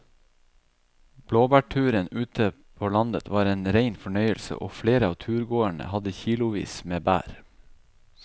Blåbærturen ute på landet var en rein fornøyelse og flere av turgåerene hadde kilosvis med bær.